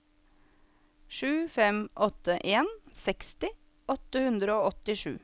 sju fem åtte en seksti åtte hundre og åttisju